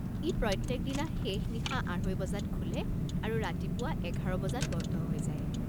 ই প্ৰত্যেকদিনা শেষ নিশা আঢ়ৈ বজাত খোলে আৰু ৰাতিপুৱা এঘাৰ বজাত বন্ধ হৈ যায়।